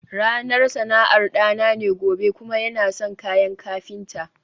ranar sana'ar dana ne gobe kuma yana son kayan kafinta